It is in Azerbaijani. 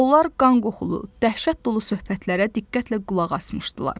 Onlar qan qoxulu, dəhşət dolu söhbətlərə diqqətlə qulaq asmışdılar.